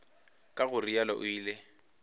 ka go realo o ile